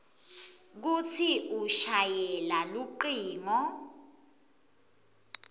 kutsi ushayele lucingo